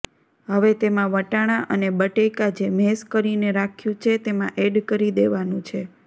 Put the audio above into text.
હવે તેમાં વટાણા અને બટેકા જે મેશ કરીને રાખ્યું છે તેમાં એડ કરી દેવાનું છે